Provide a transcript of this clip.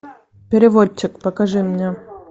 переводчик покажи мне